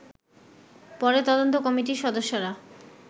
পরে তদন্ত কমিটির সদস্যরা